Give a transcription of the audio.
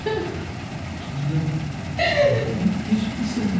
Dunya... Məni heç mi sevmir?